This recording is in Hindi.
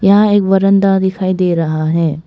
यह एक बारन्दा दिखाई दे रहा है।